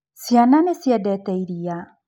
Ciana nĩ ciendete iria.